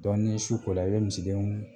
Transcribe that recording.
ni su kola u bɛ misidenninw